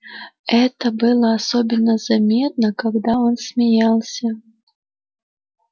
это было особенно заметно когда он смеялся